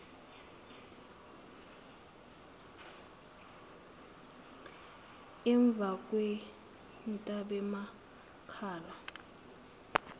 emvakwentabemakale